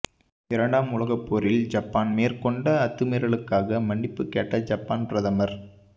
இரண்டாம் உலகப்போரில் ஜப்பான் மேற்கொண்ட அத்துமீறலுக்காக மன்னிப்பு கேட்ட ஜப்பான் பிரதமர்